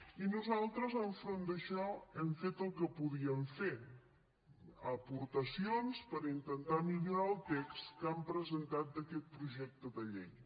i nosaltres enfront d’això hem fet el que podíem fer aportacions per intentar millorar el text que han presentat d’aquest projecte de llei